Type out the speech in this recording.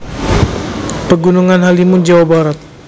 Pegunungan Halimun Jawa Barat